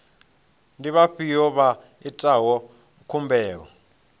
ndi vhafhiyo vha itaho khumbelo